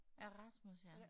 Ja Rasmus ja